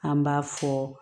An b'a fɔ